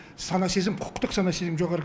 сана сезім құқықтық сана сезім жоғары